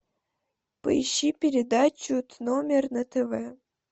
поищи передачу т номер на тв